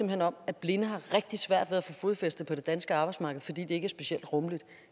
hen om at blinde har rigtig svært ved at få fodfæste på det danske arbejdsmarked fordi det ikke er specielt rummeligt